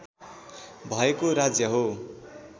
भएको राज्य हो